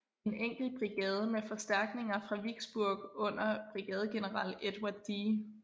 En enkelt brigade med forstærkninger fra Vicksburg under brigadegeneral Edward D